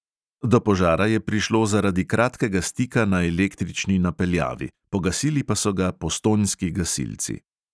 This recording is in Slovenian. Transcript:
Do požara je prišlo zaradi kratkega stika na električni napeljavi, pogasili pa so ga postojnski gasilci.